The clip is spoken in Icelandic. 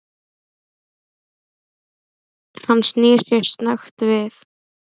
Hann snýr sér snöggt við.